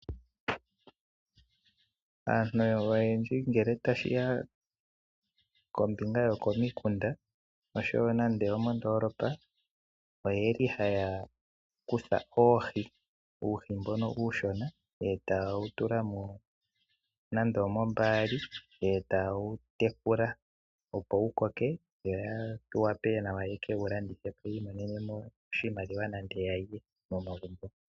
Aantu oyendji ngele tashiya kombinga yokomikunda oshowo moondoolopa oyeli haya kutha uuhi mbono uushona etaye wu tula nando omoombaali eta ye wu tekula opo wu koke yo ya wape nawa ya ke wu landithe po yiimonene mo oshimaliwa nenge yalye momagumbo